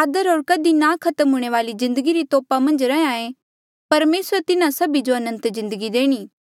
आदर होर कधी ना खत्म हूंणे वाली जिन्दगी री तोपा मन्झ रैंहयां ऐें परमेसरा तिन्हा सभी जो अनंत जिन्दगी देणी